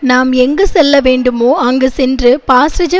நாம் எங்கு செல்ல வேண்டுமோ அங்கு சென்று பாஸ்ஸிஐ